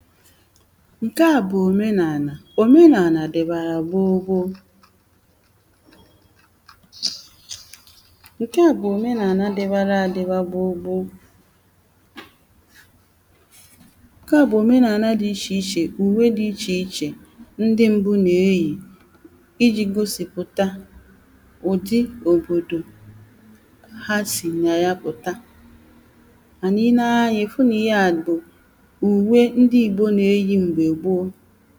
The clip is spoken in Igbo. ǹkè a bụ̀ òmeǹaàlà, òmenààlà dìbàrà gboogboo ǹkè a bụ̀ òmeǹaàlà dibara adībā gboogboo ǹkè a bụ̀ òmeǹaàlà di ichèichè, ùwe di ichèichè ndi m̀bụ na-eyì ijī gosìpụ̀ta ụ̀dị òbòdò ha sì nà ya pụ̀ta mànà ì lee anya ì fụ nà ihe à bụ̀ ùwe ndi Ìgbò na-eyì m̀gbè gboogboo